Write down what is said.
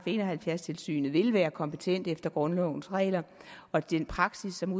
en og halvfjerds tilsynet vil være kompetent efter grundlovens regler og den praksis som